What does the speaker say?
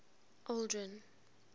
aldrin